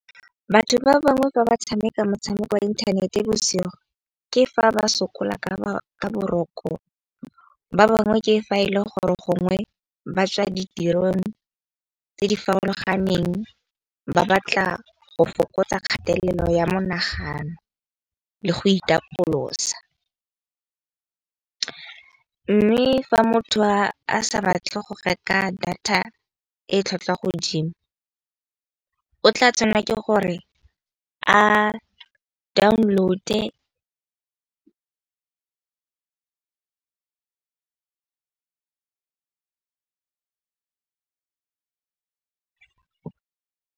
Batho ba bangwe fa ba tshameka motshameko wa inthanete bosigo ke fa ba sokola ka boroko, ba bangwe ke fa e le gore gongwe ba tswa ditirong tse di farologaneng. Ba batla go fokotsa kgatelelo ya monagano, le go itapolosa. Mme fa motho a sa batle go reka data e tlhwatlhwa godimo o tla tshwanela ke gore a download-e .